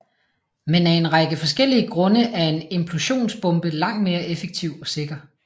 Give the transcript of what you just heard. Men af en række forskellige grunde er en implosionsbombe langt mere effektiv og sikker